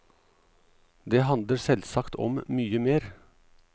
Den handler selvsagt om mye mer.